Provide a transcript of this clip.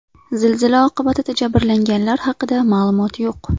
Zilzila oqibatida jabrlanganlar haqida ma’lumot yo‘q.